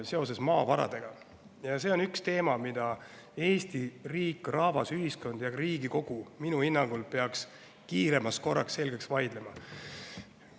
See on üks teema, mida Eesti riik, rahvas, ühiskond ja ka Riigikogu minu hinnangul peaks kiiremas korras selgeks vaidlema.